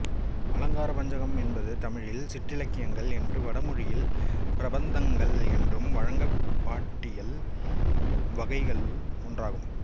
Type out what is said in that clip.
அலங்காரபஞ்சகம் என்பது தமிழில் சிற்றிலக்கியங்கள் என்றும் வடமொழியில் பிரபந்தங்கள் என்றும் வழங்கும் பாட்டியல் வகைகளுள் ஒன்றாகும்